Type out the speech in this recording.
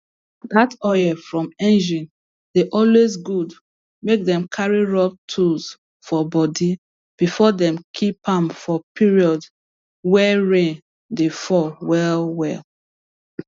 that oil from engine dey always good make them carry rub tools for body before them keep am for period wey rain dey fall well well